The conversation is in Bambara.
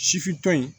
Sifin